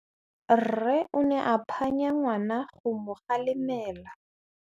Rre o ne a phanya ngwana go mo galemela.